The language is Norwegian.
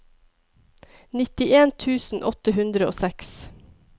nittien tusen åtte hundre og seks